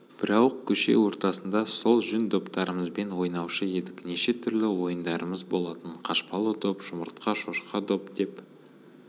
бірауық көше ортасында сол жүн доптарымызбен ойнаушы едік неше түрлі ойындарымыз болатын қашпалы доп жұмыртқа шошқа доп деп